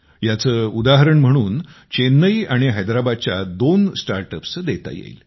याचे उदाहरण म्हणून चेन्नई आणि हैद्राबादच्या दोन स्टार्टअप्सचे देता येईल